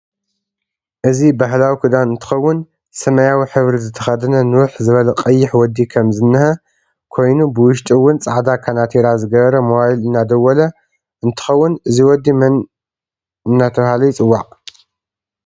እዚ ባህላዊ ክዳን እንትከውን ሰማያ ሕብሪ ዝተከደነ ንውሕ ዝበለ ቀይሕ ወዲ ከም ዝንህ ከይኑ ብውሽጢ እውን ፃዕዳ ካናቲራ ዝገበረ ሞባይል እዳደወለ እንትከውን እዚ ወዲ መን እዳተበሃለይፅዋዕ?